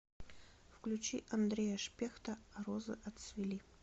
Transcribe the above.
включи андрея шпехта а розы отцвели